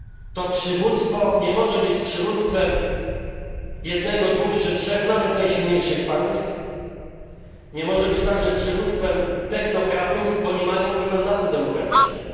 To przywództwo nie może być przywództwem jednego, dwóch czy trzech nawet najsilniejszych państw, nie może być także przywództwem technokratów, bo nie mają oni mandatu demokratycznego.